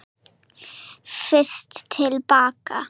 FYRST TIL BAKA.